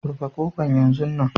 Rufe kofan yanzun nan!